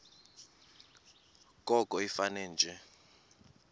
koko ifane nje